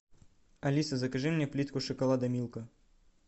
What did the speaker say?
алиса закажи мне плитку шоколада милка